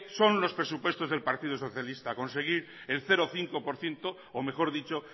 son los presupuestos del partido socialista conseguir el cero coma cinco por ciento o mejor dicho